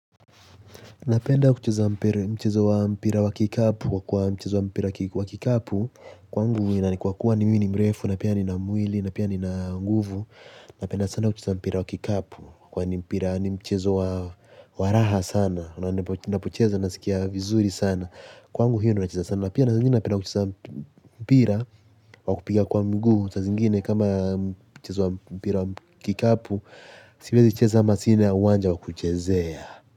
Napenda kucheza mpira wa kikapu kwa mchezo wa mpira wa kikapu kwangu na kwa kuwa ni mi ni mrefu na pia nina mwili na pia nina nguvu. Napenda sana kucheza mpira wa kikapu kwa ni mpira ni mchezo wa waraha sana. Napocheza nasikia vizuri sana kwangu hiyo ndo nacheza sana napia. Napenda kucheza mpira wa kupiga kwa mgu sa zingine kama mchezo wa mpira wa kikapu. Siwezi kucheza ama sina uwanja wa kuchezea.